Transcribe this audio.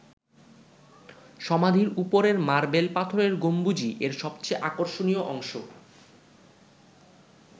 সমাধির ওপরের মার্বেল পাথরের গম্বুজই এর সবচেয়ে আকর্ষণীয় অংশ।